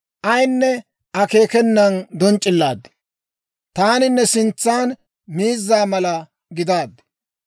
ayinne akeekenan donc'c'illaad; taani ne sintsan miizza mala gidaaddi.